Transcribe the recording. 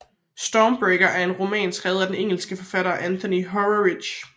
Stormbreaker er en roman skrevet af den engelske forfatter Anthony Horowitz